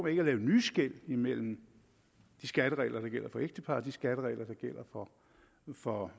ikke at lave nye skel imellem de skatteregler der gælder for ægtepar og de skatteregler der gælder for for